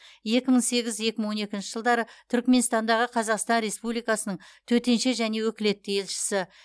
екі мың сегіз екі мың он екінші жылдары түрікменстандағы қазақстан республикасының төтенше және өкілетті елшісі